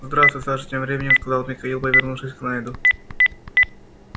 здравствуй саша тем временем сказал михаил повернувшись к найду